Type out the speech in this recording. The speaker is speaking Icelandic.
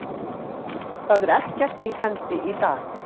Það er ekkert í hendi í dag.